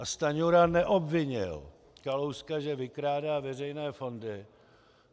A Stanjura neobvinil Kalouska, že vykrádá veřejné fondy.